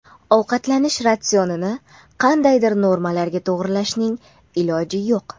Ovqatlanish ratsionini qandaydir normalarga to‘g‘irlashning iloji yo‘q.